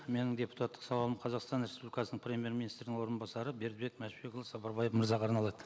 менің депутаттық сауалым қазақстан республикасының премьер министрінің орынбасары бердібек мәшбекұлы сапарбаев мырзаға арналады